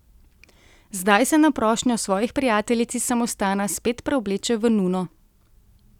Zdaj se na prošnjo svojih prijateljic iz samostana spet preobleče v nuno.